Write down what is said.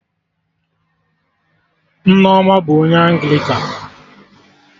Nneoma bụ onye Anglịkan